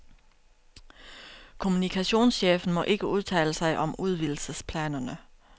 Kommunikationschefen må ikke udtale sig om udvidelsesplanerne.